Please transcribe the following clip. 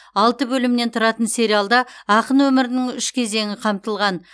алты бөлімнен тұратын сериалда ақын өмірінің үш кезеңі қамтылған